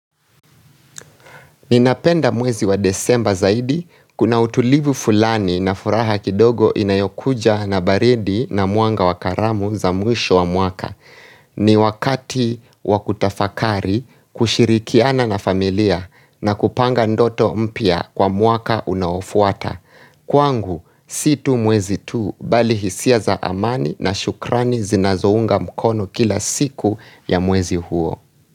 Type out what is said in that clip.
Ninapenda mwezi wa desemba zaidi, kuna utulivu fulani na furaha kidogo inayokuja na baridi na mwanga wa karamu za mwisho wa mwaka. Ni wakati wa kutafakari kushirikiana na familia na kupanga ndoto mpya kwa mwaka unaofuata. Kwangu, si tu mwezi tu, bali hisia za amani na shukrani zinazounga mkono kila siku ya mwezi huo.